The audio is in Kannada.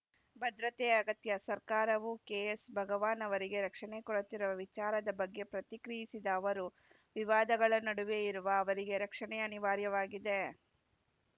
ಭದ್ರತೆ ಅಗತ್ಯ ಸರ್ಕಾರವು ಕೆಎಸ್‌ ಭಗವಾನ್‌ ಅವರಿಗೆ ರಕ್ಷಣೆ ಕೊಡುತ್ತಿರುವ ವಿಚಾರದ ಬಗ್ಗೆ ಪ್ರತಿಕ್ರಿಯಿಸಿದ ಅವರು ವಿವಾದಗಳ ನಡುವೆ ಇರುವ ಅವರಿಗೆ ರಕ್ಷಣೆ ಅನಿವಾರ್ಯವಾಗಿದೆ